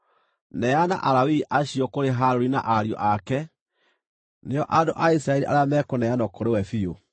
Neana Alawii acio kũrĩ Harũni na ariũ ake; nĩo andũ a Isiraeli arĩa mekũneanwo kũrĩ we biũ.